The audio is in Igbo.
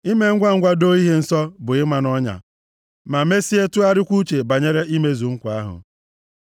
Ime ngwangwa + 20:25 Ya bụ mgbe mmadụ na-echeghị uche mee nke a. doo ihe nsọ, bụ ịma nʼọnya ma mesie tụgharịwa uche banyere imezu nkwa ahụ.